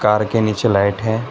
Car के नीचे light है।